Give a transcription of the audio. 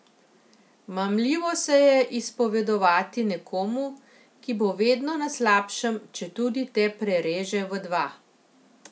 Mamljivo se je izpovedovati nekomu, ki bo vedno na slabšem, četudi te prereže v dva.